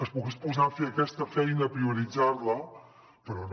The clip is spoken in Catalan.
es pogués posar fi a aquesta feina prioritzar la però no